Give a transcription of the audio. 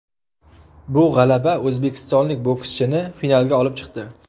Bu g‘alaba o‘zbekistonlik bokschini finalga olib chiqdi.